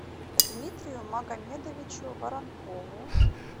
дмитрию магомедовичу воронкову